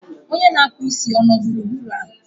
onye na-akpụ isi ọ nọ gburugburu a?